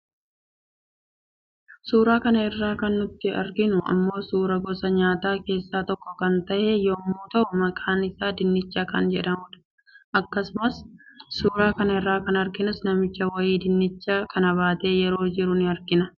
Suura kana irraa kan nuti arginu immoo suuraa gosa nyaataa keessaa tokko kan tahe yemmuu tahu maqaan isaas dinnicha kan jedhamudha. Akkuma suura kana irraa arginus namichi wayii dinnicha kana baatee yeroo jiru ni argina.